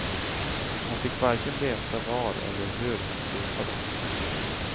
Hon fick varken veta var eller hur han stupade.